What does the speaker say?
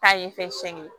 Ta ye fɛn sɛgɛn